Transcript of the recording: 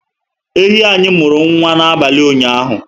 Ehi anyị muru nwa na abalị ụnyaahụ